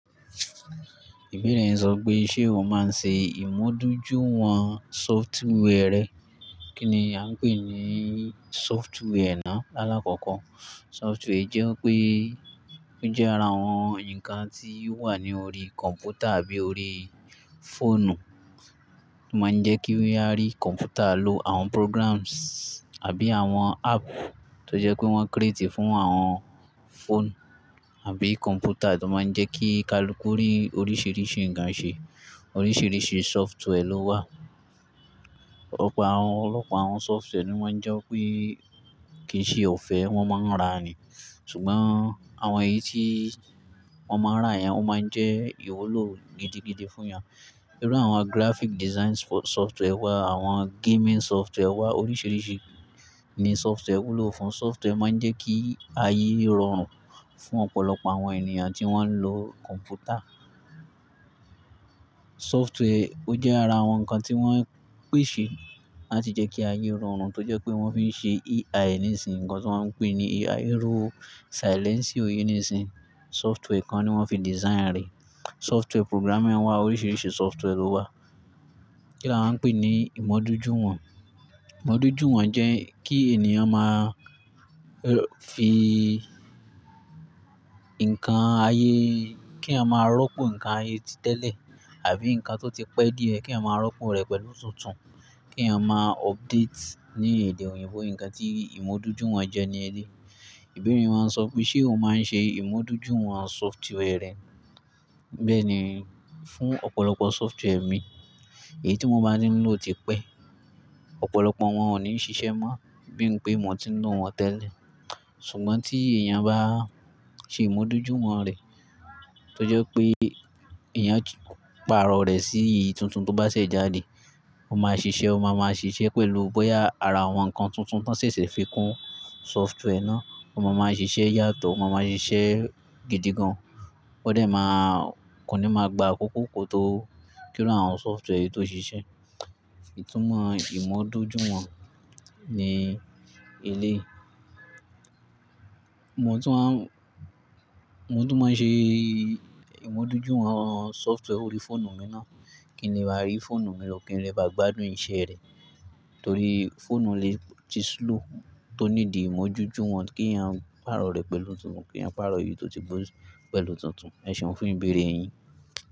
Ìbéèrè yẹn sọ pé, ṣe o máa ń ṣe ìmúdójúwọn software rẹ? Kí ni a ń pè ní software náà lákòókò? Software jẹ́ pé ó jẹ́ ara àwọn ǹkan tí ó wà ní orí kọ̀m̀pútà àbí orí fóònù. Ó máa ń jẹ́ kí wá rí kọ̀m̀pútà lo àwọn programs àbí àwọn app tó jẹ́ pé wọ́n create fún àwọn phone àbí computer tó máa ń jẹ́ kí ka lo kórí oríṣìíríṣìí ǹkan ṣe. Oríṣìíríṣìí software ló wà. Ọ̀pọ̀ àwọn, ọ̀pọ̀lọpọ̀ àwọn software ni wọ́n jẹ́ pé kì í ṣe ọ̀fẹ́, wọ́n máa ń ra ni. Ṣùgbọ́n àwọn èyí tí wọ́n máa ń rà yẹn ó máa ń jẹ́ ìwúlò gidigidi fún yàn. Irú àwọn graphic design software wà, àwọn gaming software wà. Oríṣìíríṣìí ni software wúlò fún. Software máa ń jẹ́ kí ayé rọrùn fún ọ̀pọ̀lọpọ̀ àwọn ènìyàn tí wọ́n ń lo kọ̀m̀pútà. Software ó jẹ́ ara àwọn ǹkan tí wọ́n pèsè láti jẹ́ kí ayé rọrùn tó jẹ́ pé wọ́n fi ń ṣe AI nísinsìnyí. Ǹkan tí wọ́n ń pè ní AI ro silencer yìí nísinsìnyí, software kan ni wọ́n fi design rẹ̀. Software programming wà, oríṣìíríṣìí software ló wà. Kí ni a ń pè ní ìmúdójúwọn? Ìmúdójúwọn jẹ́ kí ènìyàn máa fi ǹkan ayé, kí a máa rọ́pò ǹkan ayé tẹ́lẹ̀ àbí ǹkan tó ti pẹ́ díẹ̀ kí a máa rọ́pò rẹ̀ pẹ̀lú tuntun, kí a máa update. Ní èdè òyìnbó, ǹkan tí ìmúdójúwọn jẹ́ ni elé. Ìbéèrè yín máa ń sọ pé, ṣe o máa ń ṣe ìmúdójúwọn software rẹ? Bẹ́ẹ̀ ni, fún ọ̀pọ̀lọpọ̀ software mi, èyí tí mo bá ní ń lò ti pẹ́. Ọ̀pọ̀lọpọ̀ wọn ò ní ń ṣiṣẹ́ mọ́ bí n pé mo ti ń lò wọ́n tẹ́lẹ̀. Ṣùgbọ́n tí èèyàn bá ṣe ìmúdójúwọn rẹ̀ tó jẹ́ pé èèyàn ti pàrọ̀ rẹ̀ sí ì tuntun tó bá ṣẹ́ jáde, ó máa ṣiṣẹ́, ó máa ma ṣiṣẹ́ pẹ̀lú bóyá ara àwọn ǹkan tuntun tó ṣẹ̀ṣẹ̀ fi kún software náà. Ó máa ma ṣiṣẹ́ yàtọ̀, ó máa ma ṣiṣẹ́ gidi gan. Ó dẹ̀ máa kò ní máa gba àkókò tó kí ó rán àwọn software yìí tó ṣiṣẹ́. Ìtúmọ̀ ìmúdójúwọn ni elé. Mo tún máa ń, mo tún máa ń ṣe ìmúdójúwọn software orí fóònù mi náà kí n lè rí fóònù mi lọ́kùnrin rẹ bá gbádùn iṣẹ́ rẹ̀. Torí fóònù lè ti slow tó ní di ìmúdójúwọn kí èèyàn pàrọ̀ rẹ̀ pẹ̀lú tuntun, kí èèyàn pàrọ̀ èyí tó ti gbó pẹ̀lú tuntun. Ẹ̀ṣẹ̀ ọ́n fún ìbéèrè yín.